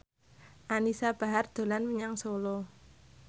Anisa Bahar dolan menyang Solo